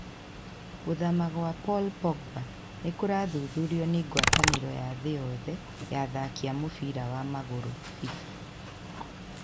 Gũthama gwa Paul Pogba nĩ kũrathuthurio nĩ ngwatanĩro ya thĩ yothe ya athaki a mũbira wa magũrũ (FIFA).